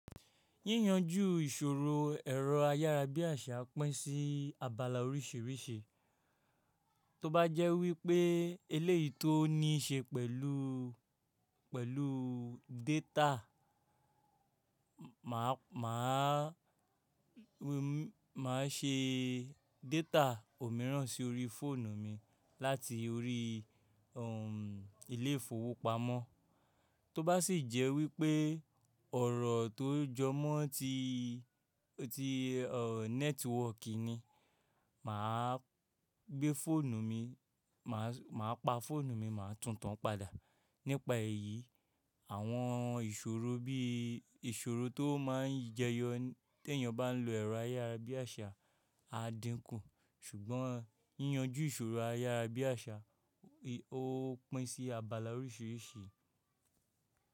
Yíyanjú ìṣòro ẹ̀rọ ayárabíàṣá pín sí abala oríṣìíríṣìí. Tóbá jẹ́ wípé eléyìí tó níṣe pẹ̀lú, pẹ̀lú data, màá, màá, màá ṣe data òmíràn sí orí fóònù mi láti orí, um, ilé ìfowópamọ́. Tóbá sì jẹ́ wípé ọ̀rọ̀ tó jọ mọ́ tí, tí, ọ, nẹ́tíwọ́kì ni, mà á gbé fóònù mi, mà á pa fóònù mi, mà á tun tan padà. Nípa èyí, àwọn ìṣòro bí ìṣòro tó máa ń jẹyọ tí èèyàn bá ń lo ẹ̀rọ ayárabíàṣá á dínkù. Ṣùgbọ́n yíyanjú ìṣòro ayárabíàṣá, o pín sí abala oríṣìíríṣìí.